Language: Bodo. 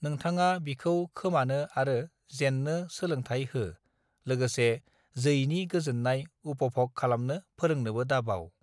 नोथांङा बिखौ खोमानो आरो जेननो सोलोंथाइ हो लोगोसे जैनि गोजोननाय उपभग खालामनो फोरोंनोबो दाबाव